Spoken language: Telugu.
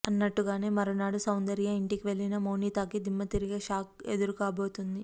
అన్నట్టుగానే మరునాడు సౌందర్య ఇంటికి వెళ్లిన మౌనితకి దిమ్మ తిరిగే షాక్ ఎదురుకాబోతుంది